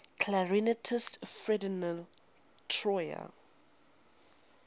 clarinetist ferdinand troyer